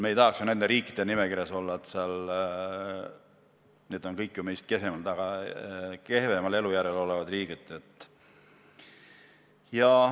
Me ei tahaks ju nende riikide nimekirjas olla, need on kõik meist kehvemal elujärjel olevad riigid.